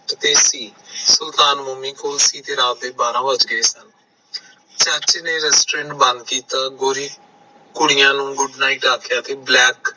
ਸੁਲਤਾਨ ਮੋਮੀ ਕੋਲ ਸੀ ਤੇ ਰਾਤ ਦੇ ਬਾਰਾ ਵਜ ਗਏ ਸੀ ਚਾਚੇ ਨੇ restaurant ਬੰਦ ਕੀਤਾ ਗੋਰੀ ਕੁੜੀਆਂ ਨੂੰ good night ਆਖਿਆ